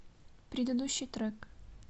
предыдущий трек